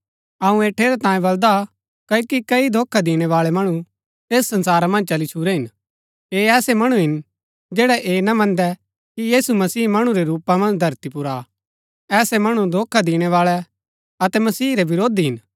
अऊँ ऐह ठेरैतांये बलदा हा क्ओकि कई धोखा दिणैबाळै मणु ऐस संसारा मन्ज चली छुरै हिन ऐह ऐसै मणु हिन जैड़ै ऐह ना मन्दै कि यीशु मसीह मणु रै रूपा मन्ज धरती पुर आ ऐसै मणु धोखा दिणैबाळै अतै मसीह रै विरोधी हिन